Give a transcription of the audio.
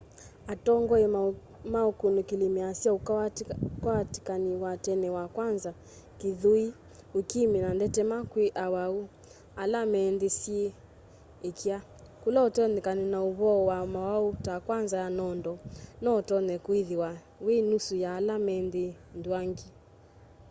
atongoi ma ũkunĩkĩli measya ũkwatĩkani wa tene wa kanza kĩthũĩ ũkimu na ndetema kwĩ awau ala me nthĩ syĩ ĩkya kũla ũtonyekano wa'ũvoa wa maũwau ta kanza ya nondo noũtonye kwĩthĩwa wĩ nusu ya ala me nthĩ nthuangi